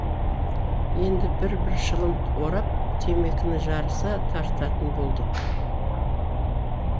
енді бір бір шылым орап темекіні жарыса тартатын болдық